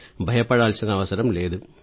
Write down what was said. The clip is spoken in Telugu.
భయపడాల్సిన అవసరం లేదు